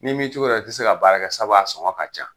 [Ni m'i togo dɔn i te se ka baara kɛ sabu a sɔngɔ ka ca